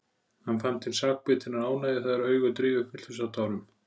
Hann fann til sakbitinnar ánægju þegar augu Drífu fylltust af tárum.